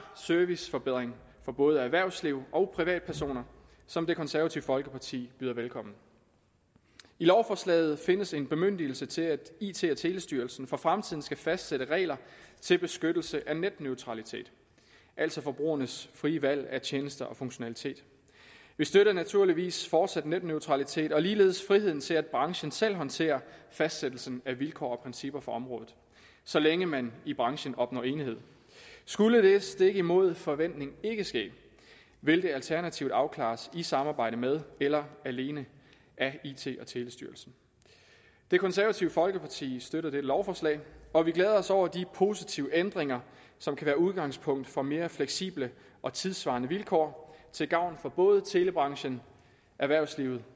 serviceforbedring for både erhvervsliv og privatpersoner som det konservative folkeparti byder velkommen i lovforslaget findes en bemyndigelse til at it og telestyrelsen for fremtiden skal fastsætte regler til beskyttelse af netneutralitet altså forbrugernes frie valg af tjenester og funktionalitet vi støtter naturligvis fortsat netneutralitet og ligeledes friheden til at branchen selv håndterer fastsættelsen af vilkår og principper for området så længe man i branchen opnår enighed skulle det stik imod forventning ikke ske vil det alternativt afklares i samarbejde med eller alene af it og telestyrelsen det konservative folkeparti støtter dette lovforslag og vi glæder os over de positive ændringer som kan være udgangspunkt for mere fleksible og tidssvarende vilkår til gavn for både telebranchen erhvervslivet